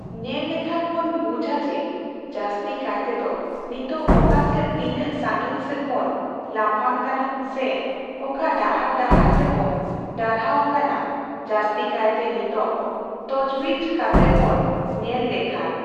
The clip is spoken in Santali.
ᱧᱮᱞ ᱞᱮᱠᱷᱟᱱ ᱵᱚᱱ ᱵᱩᱡᱟ ᱡᱮ ᱡᱟᱹᱥᱛᱤ ᱠᱟᱭ ᱛᱮᱫᱚ ᱱᱤᱛᱚᱜ ᱚᱠᱟ ᱥᱮᱫ ᱛᱤᱱᱟᱹᱜ ᱥᱟᱺᱜᱤᱧ ᱥᱮᱜ ᱵᱚᱱ ᱞᱟᱯᱷᱟᱝ ᱠᱟᱱᱟ ᱥᱮ ᱚᱠᱟ ᱰᱟᱦᱟᱨ ᱰᱟᱦᱟᱨ ᱛᱮᱵᱚᱱ ᱰᱟᱦᱨᱟᱣ ᱟᱠᱟᱱᱟ ᱡᱟᱹᱥᱛᱤ ᱠᱟᱭᱛᱮ ᱱᱤᱛᱚᱜ ᱛᱚᱡᱵᱤᱪ ᱠᱟᱛᱮᱜ ᱵᱚᱱ ᱧᱮᱞ ᱞᱮᱠᱷᱟᱱ